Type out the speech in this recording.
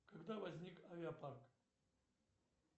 когда возник авиа парк